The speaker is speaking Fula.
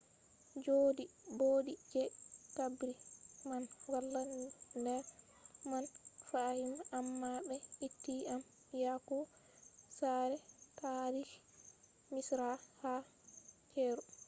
jaudi boddi je qabri man wala ner man fahim amma be itti am yahugo saare taarihi misra ha cairo